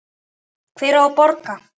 Hver á að borga?